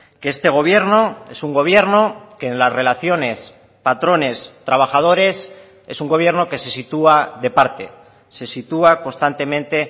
que este gobierno es un gobierno que en las relaciones patrones trabajadores es un gobierno que se sitúa de parte se sitúa constantemente